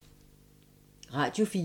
Radio 4